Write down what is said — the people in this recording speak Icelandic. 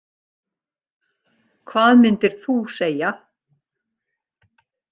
Hvað myndir þú segja?